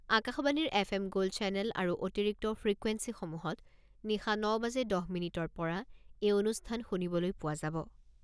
আকাশবাণীৰ F M gold channel আৰু অতিৰিক্ত ফ্ৰিকুৱেন্সিসমূহত নিশা ন বাজি দহ মিনিটৰ পৰা এই অনুষ্ঠান শুনিবলৈ পোৱা যাব।